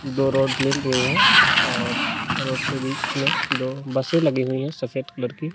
दो रोड मिल रही है और रोड के बीच में दो बसें लगी हुई है सफेद कलर की।